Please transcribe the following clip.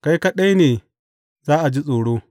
Kai kaɗai ne za a ji tsoro.